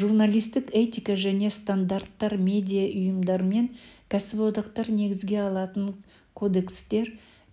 журналистік этика және стандарттар медиа ұйымдар мен кәсіподақтар негізге алатын кодекстер